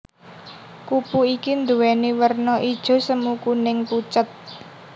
Kupu iki nduwèni werna ijo semu kuning pucet